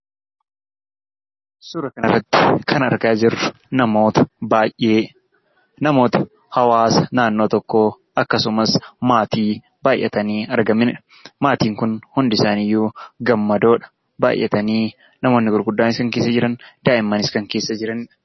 Suura kana irratti kan argaa jirru, namoota baayyee , namoota hawaasa naannoo tokkoo, akkasumas maatii baayyatanii argamanidha. Maatiin Kun hundi isaanii iyyuu gammadoodha. Baayyatanii namootni gurguddaanis keessa jiran, daa'imanis keessa jiranidha.